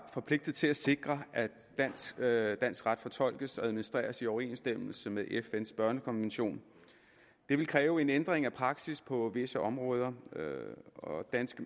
forpligtet til at sikre at dansk at dansk ret fortolkes og administreres i overensstemmelse med fns børnekonvention det vil kræve en ændring af praksis på visse områder hvor danske